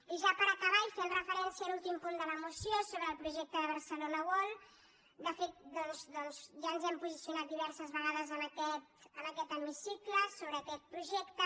i ja per acabar i fent referència a l’últim punt de la moció sobre el projecte de barcelona world de fet doncs ja ens hem posicionat diverses vegades en aquest hemicicle sobre aquest projecte